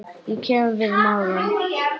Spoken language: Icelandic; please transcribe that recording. Ég kem við magann.